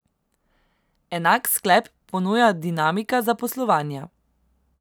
Enak sklep ponuja dinamika zaposlovanja.